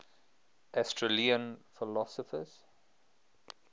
aristotelian philosophers